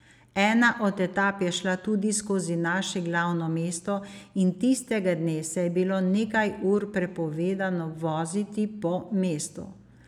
Ena od etap je šla tudi skozi naše glavno mesto in tistega dne se je bilo nekaj ur prepovedano voziti po mestu.